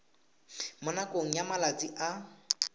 mo nakong ya malatsi a